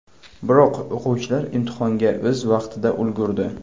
Biroq o‘quvchilar imtihonga o‘z vaqtida ulgurdi.